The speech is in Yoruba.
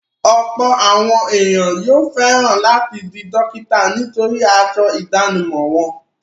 Ọ̀pọ̀ àwọn ènìyàn yóò fẹ̀ran láti di dókítà nítorí aṣọ ìdánimọ̀ wọn.